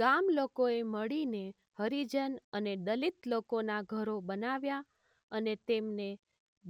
ગામલોકોએ મળીને હરિજન અને દલિત લોકોના ઘરો બનાવ્યા અને તેમને